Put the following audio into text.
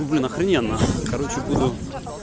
ну блин охрененно короче буду